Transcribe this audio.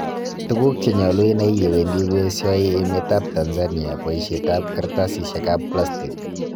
Tuguk cheyolu inai yewendi koesio emet ab Tanzania boisiet ab karastatisig ab plastig.